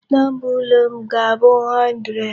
Number ụlọ m ga-abụ 100.